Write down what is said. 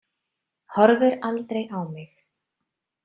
Horfir aldrei á mig.